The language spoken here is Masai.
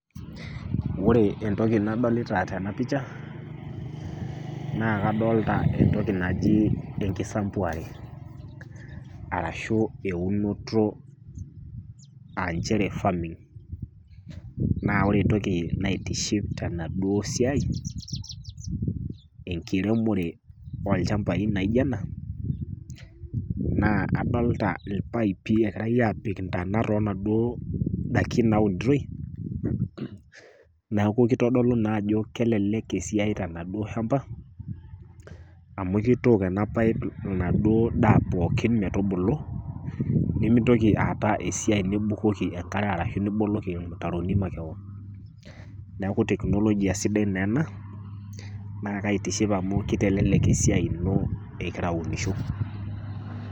Ore entoki nadolita tena pisha, naa kadolita entoki naji enkisambuare arashu eunoto ashu farming . Naa ore entoki naitiship tenaduo siai, enkiremore olchamba naijo ena, naa adolita ilpaipi egirai apik intana too inaduo dakin naunitoi, neaku keutu naa ajo keiteleleki esiai tenaduo shamba, amu keitook ena paip enaduo daa pookin metubulu, nimintoki aatau esiai nibukoki enkare arashu niboloki ilmutaroni makewon, neaku teknolojia sidai naa ena, naa keitiship amu keitelelek esiai ino ingira aunisho.